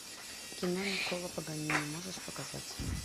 кино никколо паганини можешь показать